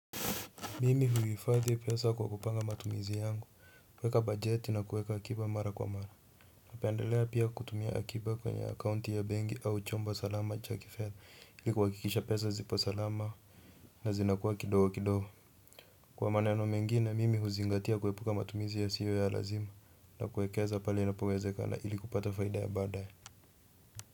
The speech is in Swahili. Mimi huhifadhi pesa kwa kupanga matumizi yangu, kuweka bajeti na kuweka akiba mara kwa mara. Napendelea pia kuweka akiba kwenye akaunti yangu ya benki au chombo salama cha kifedha ili kuhakikisha pesa zipo salama na zinakuwa kidogo kidogo. Kwa maneno mengine, mimi huzingatia kuepuka matumizi yasiyo ya lazima na kuwekeza pale inapowezekana ili kupata faida ya baadaye.